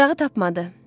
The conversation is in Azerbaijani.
Darağı tapmadı.